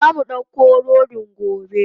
Zamu dauka rodin gobe.